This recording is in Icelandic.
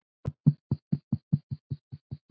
Flest börn hafa hana svona